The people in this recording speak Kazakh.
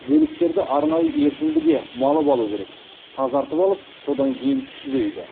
бөліктерді арнайы ертітіндіге малып алу керек тазартып алып содан кейін түзейді